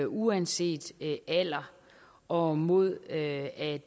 uanset alder og mod at